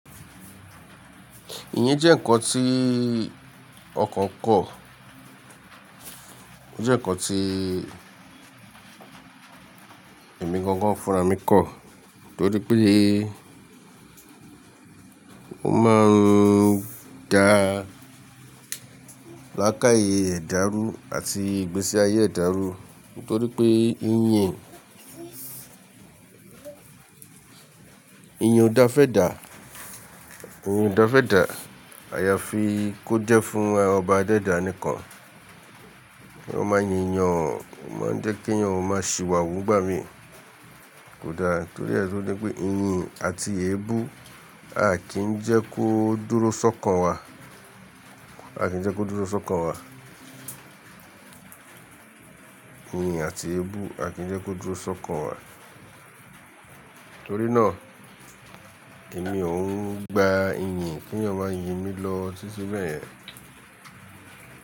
Iyín jẹ́ ǹkan tí ọkàn kọ̀, ó jẹ́ ǹkan tí ẹ̀mí gangan fúnra mi kọ̀ nítorí pé ó máa ń da lákáàyè ẹ̀dá rú àti ìgbésí ayé ẹ̀dá rú nítorí pé iyín yẹn, iyì ọ̀dà fẹ́ dà, iyì ọ̀dà fẹ́ dà àyàfi kó jẹ́ fún ọba ada ẹdà nìkan. Kí wọn má yi eyàn, o má ń jẹ́ kí eyàn má sìwàwù n gbà mí kódà torí ẹ́ ṣọ wí pé, iyìn àti èébú à kì ń jẹ́ kó dúró sọ́kàn wa, à kì ń jẹ́ kó dúró sọ́kàn wa. Iyìn àti èébú à kì ń jẹ́ kó dúró sọ́kàn wa. Nítorí náà, èmi ò ń gba iyìn kí wọn máa yé mi lọ títí bẹ́yẹ̀n.